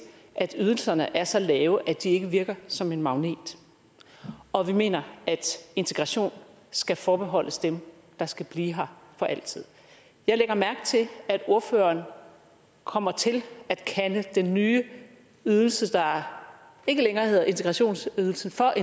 at ydelserne er så lave at de ikke virker som en magnet og vi mener at integration skal forbeholdes dem der skal blive her for altid jeg lægger mærke til at ordføreren kommer til at kalde den nye ydelse der ikke længere hedder integrationsydelse for